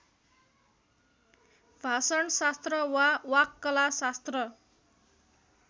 भाषणशास्त्र वा वाक्कलाशास्त्र